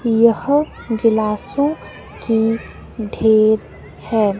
यह गिलासों की ढेर है।